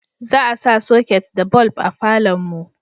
za a sa soket da bulb a falon mu